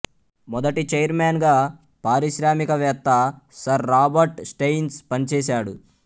మొదటి ఛైర్మన్ గా పారిశ్రామికవేత్త సర్ రాబర్ట్ స్టెయిన్స్ పనిచేసాడు